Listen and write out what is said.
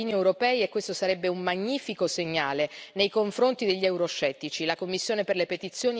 Questo si aspettano i cittadini europei e questo sarebbe un magnifico segnale nei confronti degli euroscettici.